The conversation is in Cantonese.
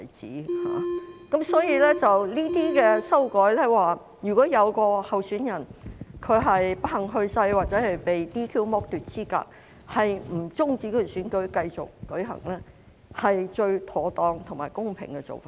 這項修正案訂明，如有候選人不幸去世或被 "DQ" 剝奪資格，也不用終止選舉，選舉可以繼續舉行，是最妥當和公平的做法。